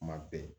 Kuma bɛɛ